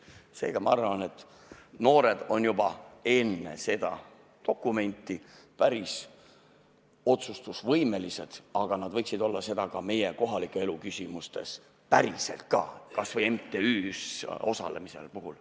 Seega, ma arvan, et noored on juba enne seda dokumenti päris otsustusvõimelised, aga nad võiksid olla seda meie kohaliku elu küsimustes päriselt ka, kas või MTÜ-s osalemise puhul.